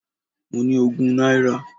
Mo ní ogún náírà.